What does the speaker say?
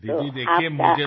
दीदी देखिये मुझे तो